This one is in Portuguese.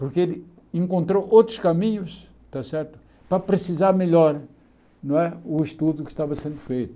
porque ele encontrou outros caminhos está certo para precisar melhora não é o estudo que estava sendo feito.